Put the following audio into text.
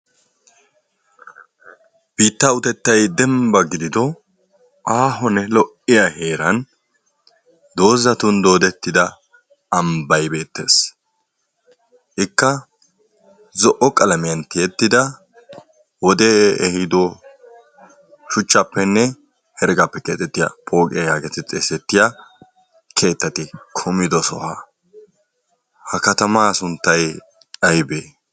Biittaa utettayi dembbanne aaho gidido lo"iya heeran dozzatun doodettida ambbayi beettes. Ikka zo"o qalamiyan tiyettida wodee ehiido shuchchaappenne heregaappe keexettiya pooqiya geetettes. Keexettiya keettati kumido sohuwa ha katamaa. sunttayi aybee?